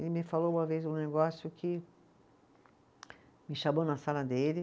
Ele me falou uma vez um negócio que, me chamou na sala dele.